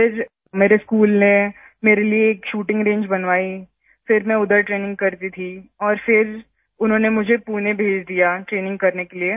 फिर मेरे स्कूल ने मेरे लिए एक शूटिंग रंगे बनवाई फिर मैं उधर ट्रेनिंग करती थी और फिर उन्होंने मुझे पुणे भेज दिया ट्रेनिंग करने के लिए